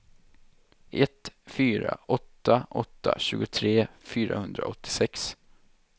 ett fyra åtta åtta tjugotre fyrahundraåttiosex